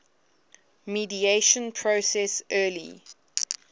mediation process early